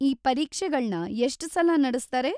ಈ ಪರೀಕ್ಷೆಗಳ್ನ ಎಷ್ಟ್‌ ಸಲ ನಡೆಸ್ತಾರೆ?